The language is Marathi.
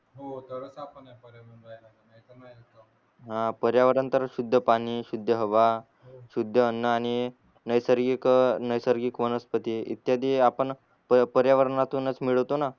हा पर्यावरण तर शुद्ध पाणी शुद्ध हवा शुद्ध अन्न आणि नैसर्गिक नैसर्गिक वनस्पती इत्यादी आपण पर्यावरनातूनच मिळवतो न